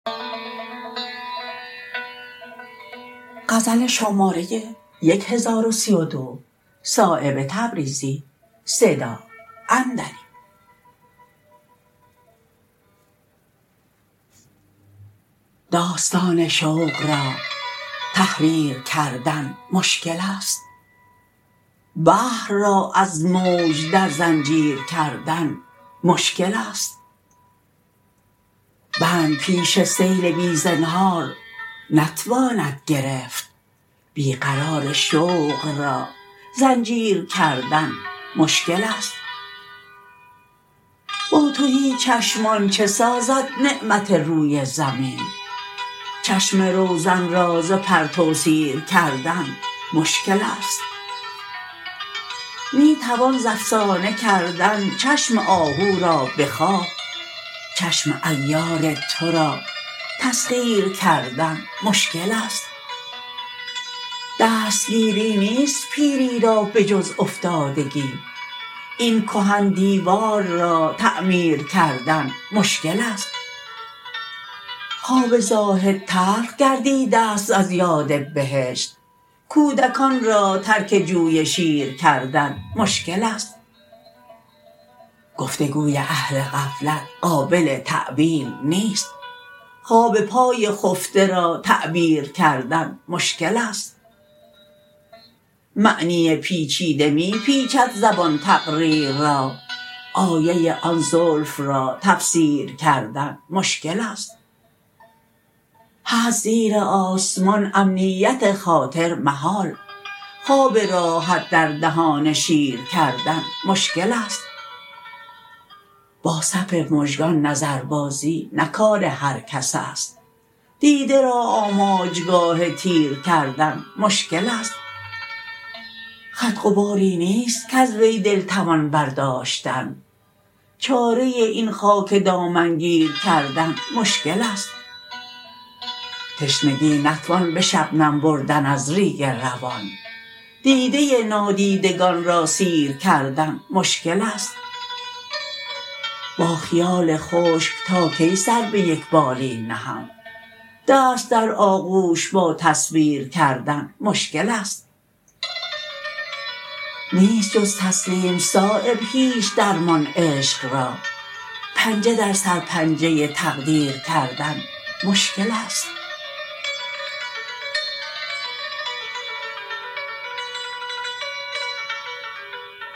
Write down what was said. داستان شوق را تحریر کردن مشکل است بحر را از موج در زنجیر کردن مشکل است بند پیش سیل بی زنهار نتواند گرفت بی قرار شوق را زنجیر کردن مشکل است با تهی چشمان چه سازد نعمت روی زمین چشم روزن را ز پرتو سیر کردن مشکل است می توان ز افسانه کردن چشم آهو را به خواب چشم عیار ترا تسخیر کردن مشکل است دستگیری نیست پیری را به جز افتادگی این کهن دیوار را تعمیر کردن مشکل است خواب زاهد تلخ گردیده است از یاد بهشت کودکان را ترک جوی شیر کردن مشکل است گفتگوی اهل غفلت قابل تأویل نیست خواب پای خفته را تعبیر کردن مشکل است معنی پیچیده می پیچد زبان تقریر را آیه آن زلف را تفسیر کردن مشکل است هست زیر آسمان امنیت خاطر محال خواب راحت در دهان شیر کردن مشکل است با صف مژگان نظربازی نه کار هر کس است دیده را آماجگاه تیر کردن مشکل است خط غباری نیست کز وی دل توان برداشتن چاره این خاک دامنگیر کردن مشکل است تشنگی نتوان به شبنم بردن از ریگ روان دیده نادیدگان را سیر کردن مشکل است با خیال خشک تا کی سر به یک بالین نهم دست در آغوش با تصویر کردن مشکل است نیست جز تسلیم صایب هیچ درمان عشق را پنجه در سر پنجه تقدیر کردن مشکل است